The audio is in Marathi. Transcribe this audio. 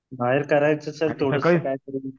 बाहेर करायचं सर थोडस